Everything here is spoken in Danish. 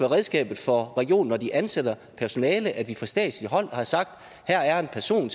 redskabet for regionen når de ansætter personale at vi fra statslig hånd har sagt her er en person